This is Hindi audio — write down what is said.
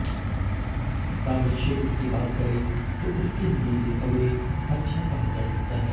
कार्यक्षेत्र की बात करें तो उसके लिए ये समय अच्छा कहा जा सकता है